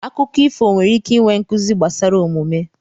Akụkọ ifo nwere ike inwe nkuzi gbasara omume.